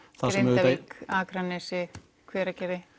Grindavík Akranesi Hveragerði